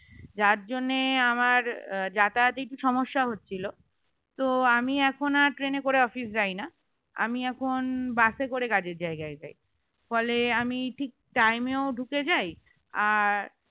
যার জন্য আমার যাতায়াতে একটু সমস্যা হচ্ছিল তো আমি এখন আর ট্রেন এ করে office যাই না আমি এখন বাস এ করে কাজের জায়গায় যাই ফলে আমি ঠিক time এ ঢুকে যাই আর